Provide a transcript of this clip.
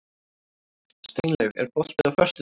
Steinlaug, er bolti á föstudaginn?